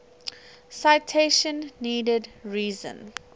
citation needed reason